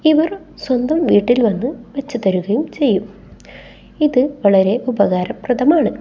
ഇവരും സ്വന്തം വീട്ടിൽ വെച്ച് തരുകയും ചെയ്യും ഇത് വളരെ ഉപകാരപ്രദമാണ്.